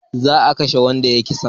Za a kashe wanda ya yi kisa